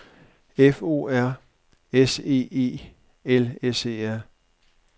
F O R S E E L S E R